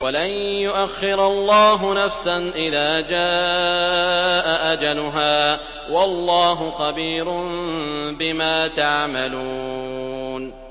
وَلَن يُؤَخِّرَ اللَّهُ نَفْسًا إِذَا جَاءَ أَجَلُهَا ۚ وَاللَّهُ خَبِيرٌ بِمَا تَعْمَلُونَ